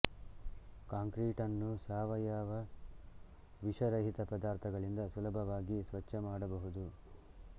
ಕಾಂಕ್ರೀಟನ್ನು ಸಾವಯವ ವಿಷ ರಹಿತ ಪದಾರ್ಥಗಳಿಂದ ಸುಲಭವಾಗಿ ಸ್ವಚ್ಛ ಮಾಡಬಹುದು